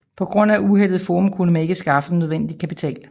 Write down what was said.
På grund at uheldet i Forum kunne man ikke skaffe den nødvendige kapital